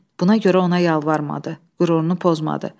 Buna görə ona yalvarmadı, qürurunu pozmadı.